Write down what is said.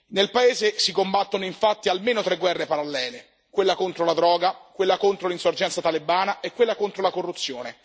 Nel paese si combattono infatti almeno tre guerre parallele quella contro la droga, quella contro l'insorgenza talebana e quella contro la corruzione.